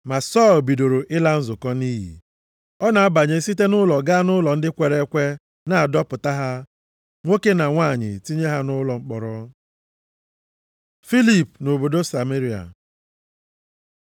Ma Sọl bidoro ịla nzukọ nʼiyi. Ọ na-abanye site nʼụlọ ga nʼụlọ ndị kwere ekwe na-adọpụta ha, nwoke na nwanyị, tinye ha nʼụlọ mkpọrọ. Filip nʼobodo Sameria